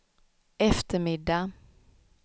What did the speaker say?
eftermiddag